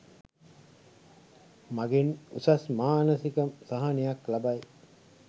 මගින් උසස් මානසික සහනයක් ලබයි.